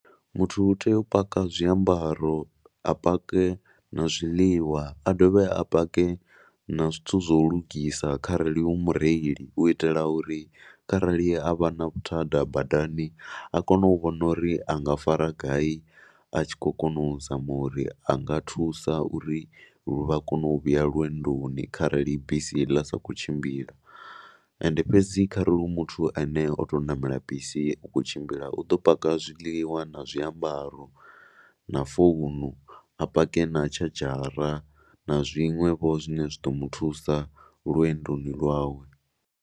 Muthu u tea u paka zwiambaro, a pake na zwiḽiwa, a dovhe a pake na zwithu zwa u lugisa kharali u mureili u itela uri kharali a vha na vhuthada badani a kone u vhona uri a nga fara ngai a tshi khou kona u zama uri a nga thusa uri vha kone u vhuya lwendoni kharali bisi ḽa sa khou tshimbila. Ende fhedzi kharali hu muthu a ne o tou ṋamela bisi u khou tshimbila u ḓo paka zwiḽiwa na zwiambaro na founu. A pake na tshadzhara na zwiṅwevho zwine zwi ḓo mu thusa lwendoni lwawe.